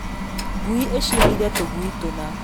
Ngui ĩciarire tũgui tũna